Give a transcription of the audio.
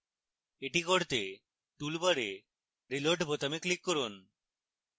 এটি করতে toolbar reload বোতামে click করুন